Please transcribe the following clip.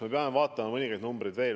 Me peame vaatama mõningaid numbreid veel.